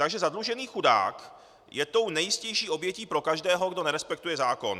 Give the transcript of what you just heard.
Takže zadlužený chudák je tou nejjistější obětí pro každého, kdo nerespektuje zákon.